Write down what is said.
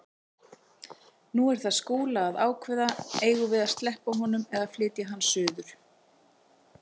Nú er það Skúla að ákveða: Eigum við að sleppa honum eða flytja hann suður?